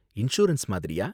Insurance மாதிரியா?